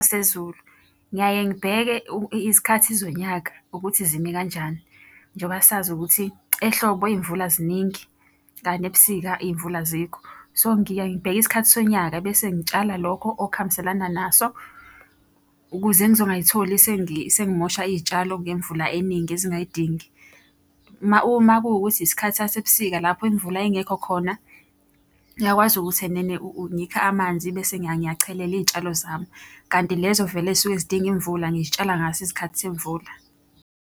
Sezulu. Ngiyaye ngibheke izikhathi zonyaka, ukuthi zimi kanjani. Njengoba sazi ukuthi ehlobo iy'mvula ziningi, kanti ebusika iy'mvula azikho. So, ngiyaye ngibheke isikhathi sonyaka bese ngitshala lokho okuhambelana naso ukuze ngizongayitholi sengimosha iy'tshalo ngemvula eningi ezingayidingi. Uma kuwukuthi isikhathi sasebusika lapho imvula ingekho khona, ngiyakwazi ukuthi enene ngikhe amanzi bese ngiyachelela iy'tshalo zami. Kanti lezo vele ey'suke zidinga imvula ngiy'tshala ngaso isikhathi semvula.